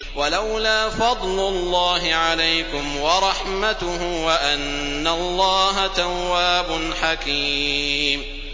وَلَوْلَا فَضْلُ اللَّهِ عَلَيْكُمْ وَرَحْمَتُهُ وَأَنَّ اللَّهَ تَوَّابٌ حَكِيمٌ